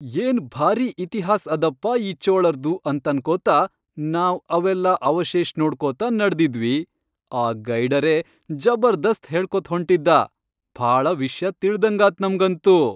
ಏನ್ ಭಾರೀ ಇತಿಹಾಸ್ ಅದಪ್ಪಾ ಈ ಚೋಳರ್ದು ಅಂತನ್ಕೋತ ನಾವ್ ಅವೆಲ್ಲಾ ಅವಶೇಷ್ ನೋಡ್ಕೊತ ನಡದಿದ್ವಿ, ಆ ಗೈಡರೇ ಜಬರ್ದಸ್ತ್ ಹೇಳ್ಕೋತ್ಹೊಂಟಿದ್ದಾ.. ಭಾಳ ವಿಷ್ಯ ತಿಳ್ದಂಗಾತ್ ನಮ್ಗಂತೂ.